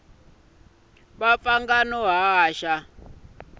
va pfanga na ku haxa